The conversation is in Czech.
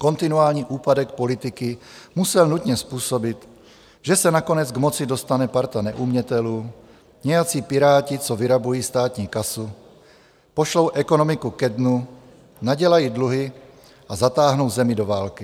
Kontinuální úpadek politiky musel nutně způsobit, že se nakonec k moci dostane parta neumětelů, nějací Piráti, co vyrabují státní kasu, pošlou ekonomiku ke dnu, nadělají dluhy a zatáhnou zemi do války.